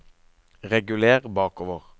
reguler bakover